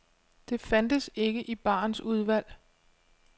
Det fandtes ikke i barens udvalg.